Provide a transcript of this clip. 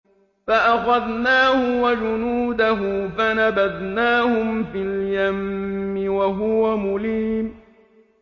فَأَخَذْنَاهُ وَجُنُودَهُ فَنَبَذْنَاهُمْ فِي الْيَمِّ وَهُوَ مُلِيمٌ